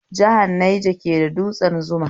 Jihar Niger ke da dutsen Zuma